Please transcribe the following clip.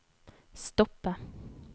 stoppe